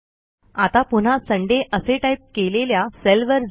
आता पुन्हा सुंदय असे टाईप केलेल्या सेलवर जा